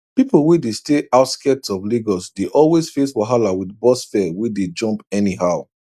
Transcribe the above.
people wey dey stay outskirts of lagos dey always face wahala with bus fare wey dey jump anyhow